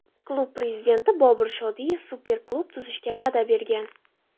Klub prezidenti Bobur Shodiyev super klub tuzishga va’da bergan.